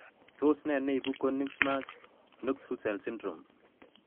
Tos ne neibu Konigsmark Knox Hussels syndrome?